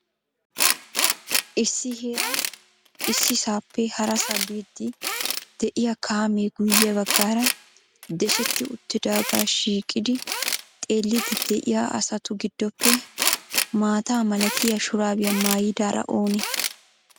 Issi heeran issisappe harasa biidi de'iyaa kaamee guyye baggaaara deshsheti uttidaaga shiiqidi xeelidi de'iya asatu giddoppe maata malatiya shurabiya maayyidaara oone?